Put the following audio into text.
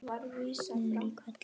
Einn niður í hvelli.